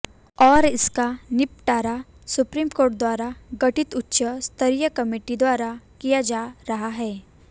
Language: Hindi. और इसका निबटारा सुप्रीम कोर्ट द्वारा गठित उच्च स्तरीय कमेटी द्वारा किया जा रहा है